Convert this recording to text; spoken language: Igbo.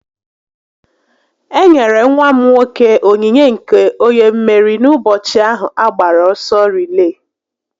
E nyere nwa m nwoke ònyìnyé nke onye mmeri n'ụbọchị ahu a gbara ọsọ rilee